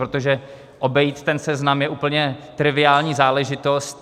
Protože obejít ten seznam je úplně triviální záležitost.